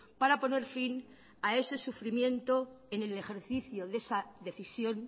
para poner fin a ese sufrimiento en el ejercicio de esa decisión